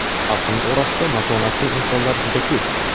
Xalqimiz orasida matonatli insonlar juda ko‘p.